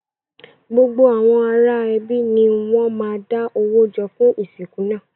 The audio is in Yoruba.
Gbogbo àwọn ará ẹbí ni wọn má da owó jọ fún ìsìnkú náà.